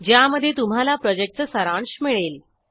ज्यामध्ये तुम्हाला प्रॉजेक्टचा सारांश मिळेल